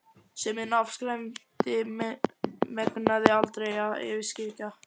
sem hinn afskræmdi megnaði aldrei alveg að yfirskyggja.